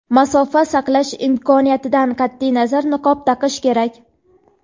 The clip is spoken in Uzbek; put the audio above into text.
masofa saqlash imkoniyatidan qat’iy nazar niqob taqish kerak.